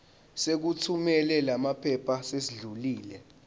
sokuthumela lamaphepha sesidlulile